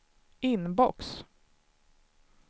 inbox